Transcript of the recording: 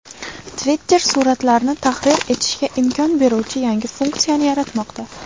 Twitter suratlarni tahrir etishga imkon beruvchi yangi funksiyani yaratmoqda.